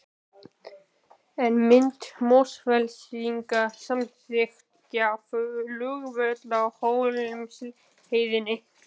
En myndu Mosfellingar samþykkja flugvöll á Hólmsheiði?